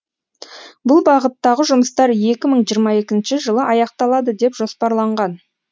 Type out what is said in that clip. бұл бағыттағы жұмыстар екі мың жиырма екінші жылы аяқталады деп жоспарланған